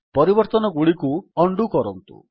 ପରିବର୍ତ୍ତନଗୁଡ଼ିକୁ undo କରନ୍ତୁ